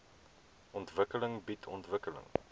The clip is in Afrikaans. ontwikkeling bied ontwikkeling